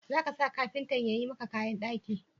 Za ka sa kafintan ya yi maka kayan daki.